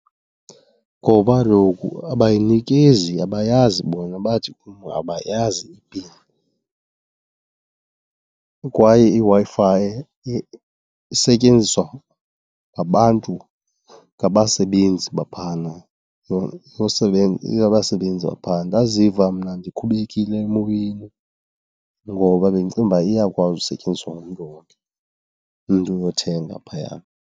Ngoba kaloku abayinikezi, abayazi bona, bathi kum abayazi ipini. Kwaye iWi-Fi isetyenziswa ngabantu, ngabasebenzi baphana, abasebenzi baphaa. Ndaziva mna ndikhubekile emoyeni ngoba bendicinga uba iyakwazi usetyenziswa ngumntu wonke, umntu oyothenga phaya.